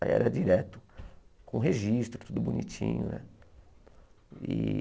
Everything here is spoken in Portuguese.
Aí era direto, com registro, tudo bonitinho, né? E